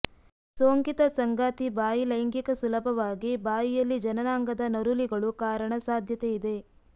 ಸೋಂಕಿತ ಸಂಗಾತಿ ಬಾಯಿ ಲೈಂಗಿಕ ಸುಲಭವಾಗಿ ಬಾಯಿಯಲ್ಲಿ ಜನನಾಂಗದ ನರೂಲಿಗಳು ಕಾರಣ ಸಾಧ್ಯತೆಯಿದೆ